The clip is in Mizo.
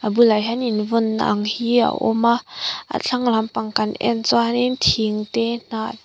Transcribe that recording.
abulah hian invawnna ang hi a awm a a thlang lampang kan en chuan in thing te hnah --